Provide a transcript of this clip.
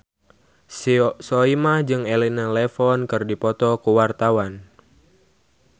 Soimah jeung Elena Levon keur dipoto ku wartawan